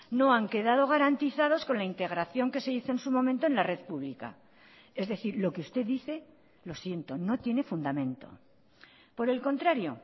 no han quedado garantizados con la integración que se hizo en su momento en la red pública es decir lo que usted dice lo siento no tiene fundamento por el contrario